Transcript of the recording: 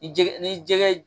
Ni jɛgɛ ni jɛgɛ